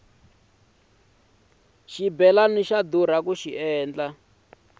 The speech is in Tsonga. xibelani xa durha ku rhunga